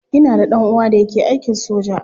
Ina da dan uwa da yake aikin soja.